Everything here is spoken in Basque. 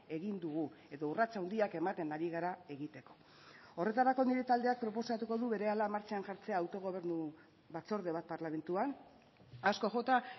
egin dugu edo urrats handiak ematen ari gara egiteko horretarako nire taldeak proposatuko du berehala martxan jartzea autogobernu batzorde bat parlamentuan asko jota